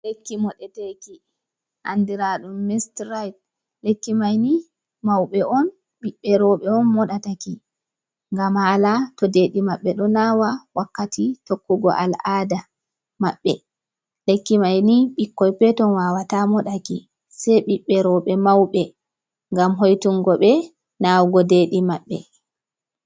Lekki moɗeteki, andiraɗum mistiraid. Lekki maini, mauɓe on ɓiɓɓe rowɓe on moɗataki ngam haala to deeɗi maɓɓe ɗo naawa wakkati tokkugo al'ada maɓɓe. Lekki mai ni ɓikkoi peton wawata moɗaki, sei ɓiɓɓe rowɓe mauɓe. Ngam hoitungo ɓe naawugo deeɗi maɓɓe.